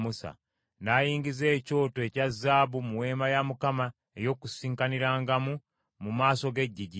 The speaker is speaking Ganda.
N’ayingiza ekyoto ekya zaabu mu Weema ey’Okukuŋŋaanirangamu mu maaso g’eggigi,